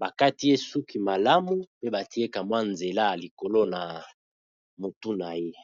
ba kati ye suki malamu pe ba tie ka mwa nzela ya likolo na mutu na ye .